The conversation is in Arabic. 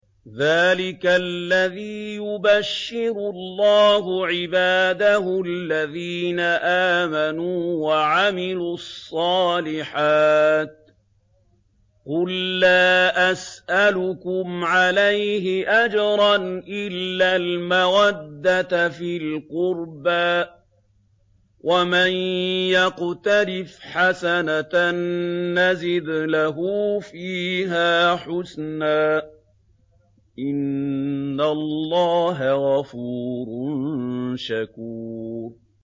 ذَٰلِكَ الَّذِي يُبَشِّرُ اللَّهُ عِبَادَهُ الَّذِينَ آمَنُوا وَعَمِلُوا الصَّالِحَاتِ ۗ قُل لَّا أَسْأَلُكُمْ عَلَيْهِ أَجْرًا إِلَّا الْمَوَدَّةَ فِي الْقُرْبَىٰ ۗ وَمَن يَقْتَرِفْ حَسَنَةً نَّزِدْ لَهُ فِيهَا حُسْنًا ۚ إِنَّ اللَّهَ غَفُورٌ شَكُورٌ